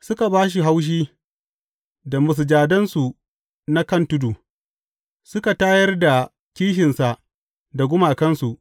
Suka ba shi haushi da masujadansu na kan tudu; suka tayar da kishinsa da gumakansu.